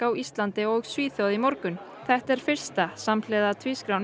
á Íslandi og Svíþjóð í morgun þetta er fyrsta samhliða